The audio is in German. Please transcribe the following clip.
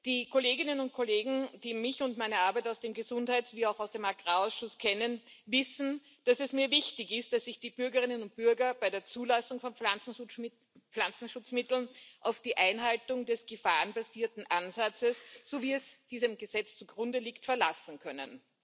Die Kolleginnen und Kollegen, die mich und meine Arbeit aus dem Gesundheits wie auch aus dem Agrarausschuss kennen, wissen, dass es mir wichtig ist, dass sich die Bürgerinnen und Bürger bei der Zulassung von Pflanzenschutzmitteln auf die Einhaltung des gefahrenbasierten Ansatzes, so wie er diesem Gesetz zugrunde liegt, verlassen können.